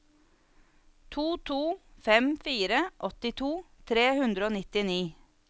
to to fem fire åttito tre hundre og nittini